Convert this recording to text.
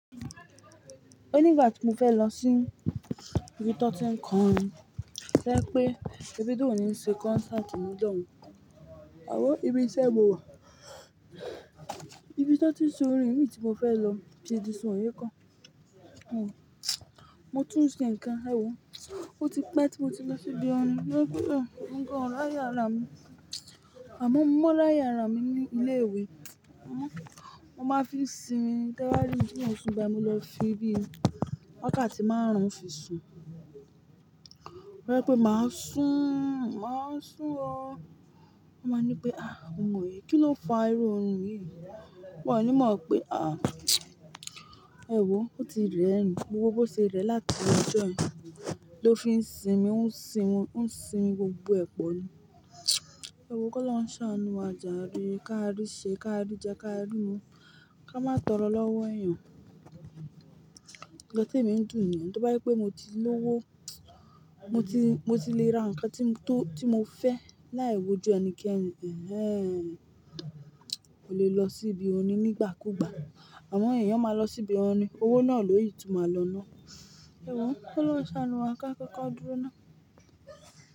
Ó nígbà tí mo fẹ́ lọ sí ibi tọ́ti nǹkan, sẹ́ pé Davido ni ṣe concert ní. Ìjọn, àwọ̀ ibi iṣẹ́ mo wà. Ibi tanti ìṣòrin mi ti mo fẹ́ lọ ṣe di sànyé kan. Òun, mo tún sí ǹkan, ẹ̀wò, ó ti pẹ́ tí mo ti lọ sí ibi ọní, sẹ́ pé lọ́wọ́ nǹkan ráyà rà mí, àmọ́ mo mọ́ láyà rà mí ní ilé-ìwé. Ó máa fi sinmi, táwáríì tí n ó sun bá, mo lọ fi bí ì, wákàtí márùn-ún fi sun. Sẹ́ pé mà á sún, mà á sún ọ, a máa ní pé, "àá, òǹwé kíní ló fa irú ohun yìí?" Mọ ní mọ̀ pé, àá ẹ̀wò, ó ti rẹ̀ ẹni, gbogbo bó ṣe rẹ̀ láti ọjọii ló fi ń sinmi, ó ń sinmi, ó ń sinmi gbogbo ẹ̀pọ̀ ni. Ẹ̀wò kó lọ́ ń wa ṣàánú wa, jàre, ká rí ṣe, ká rí jẹ, ká rí mu, kí a má tọrọ lọ́wọ́ èèyàn. Ọ̀rẹ́ mi ń dùn mí, tí bájẹ́ pé mo ti lówó, mo ti, mo ti le ra nǹkan tí mo fẹ́ láì wojú ẹnikẹ́ni, ẹh ẹh, o lè lọ sí ibi oní nígbà kúùgbà, àmọ́ èèyàn máa lọ sí ibi ọní, owó náà ló yí tún máa lọ náà. Ẹ̀wò kó lọ́ ń ṣàánú wa, ká kọ́kọ́ dúró ná.